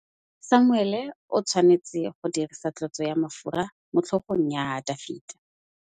Samuele o tshwanetse go dirisa tlotsô ya mafura motlhôgong ya Dafita.